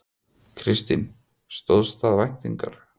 Kristín: Stóðst það væntingar?